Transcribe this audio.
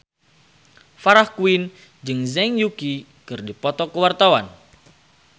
Farah Quinn jeung Zhang Yuqi keur dipoto ku wartawan